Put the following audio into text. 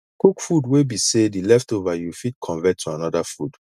cook food wey be sey di leftover you fit convert to anoda food